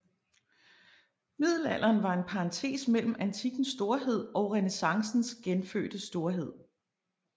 Middelalderen var en parentes mellem antikkens storhed og renæssancens genfødte storhed